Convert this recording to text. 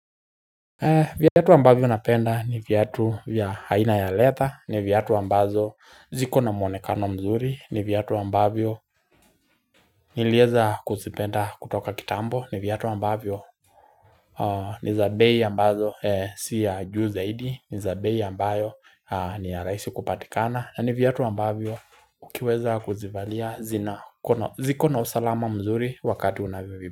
Viatu ambavyo napenda ni viatu vya aina ya leather, ni viatu ambazo ziko na mwonekano mzuri, ni viatu ambavyo nilieza kuzipenda kutoka kitambo, ni viatu ambavyo ni za bei ambazo si ya juu zaidi, ni za bei ambayo ni ya rahisi kupatikana, na ni viatu ambavyo ukiweza kuzivalia ziko na usalama mzuri wakati unavyovi.